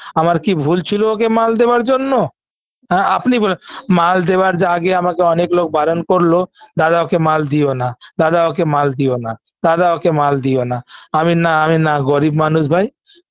আমার কি ভুল ছিল ওকে মাল দেওয়ার জন্য হ্যাঁ আপনি বলেন মাল দেওয়ার যে আগে অনেক লোক বারণ করল দাদা ওকে মাল দিও না দাদা ওকে মাল দিও না দাদা ওকে মাল দিওনা আমিনা আমিনা গরিব মানুষ ভাই